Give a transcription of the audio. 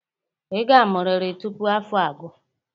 Ị ga-amụrịrị tupu afọ a agụ.